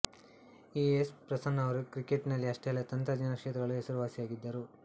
E A S Prasanna ಅವರು ಕ್ರಿಕೆಟ್ಟಿನಲ್ಲಿ ಅಷ್ಟೇ ಅಲ್ಲದೆ ತಂತ್ರಜ್ಞಾನ ಕ್ಷೇತ್ರದಲ್ಲೂ ಹೆಸರುವಾಸಿಯಾಗಿದ್ದರು